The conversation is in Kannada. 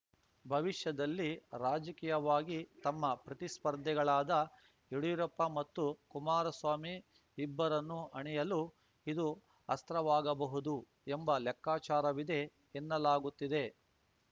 ಭವಿಷ್ಯದಲ್ಲಿ ರಾಜಕೀಯವಾಗಿ ತಮ್ಮ ಪ್ರತಿಸ್ಪರ್ಧಿಗಳಾದ ಯಡ್ಯೂರಪ್ಪ ಮತ್ತು ಕುಮಾರಸ್ವಾಮಿ ಇಬ್ಬರನ್ನೂ ಹಣಿಯಲು ಇದು ಅಸ್ತ್ರವಾಗಬಹುದು ಎಂಬ ಲೆಕ್ಕಾಚಾರವಿದೆ ಎನ್ನಲಾಗುತ್ತಿದೆ